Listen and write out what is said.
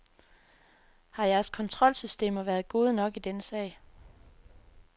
Har jeres kontrolsystemer været gode nok i denne sag.